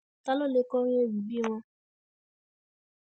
ta ló lè kọrin ewì bíi wọn